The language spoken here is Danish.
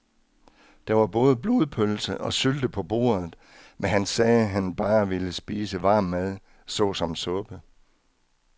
Der var både blodpølse og sylte på bordet, men han sagde, at han bare ville spise varm mad såsom suppe.